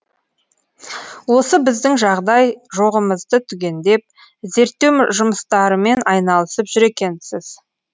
осы біздің жағдай жоғымызды түгендеп зерттеу жұмыстарымен айналысып жүр екенсіз